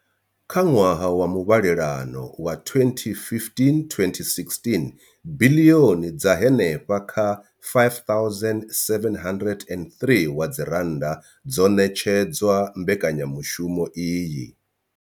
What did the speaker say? Kha ṅwaha wa muvhalelano wa 2015, 2016, biḽioni dza henefha kha R5 703 dzo ṋetshedzwa mbekanyamushumo iyi.